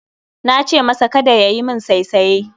Nace masa Kada yayi min saisaye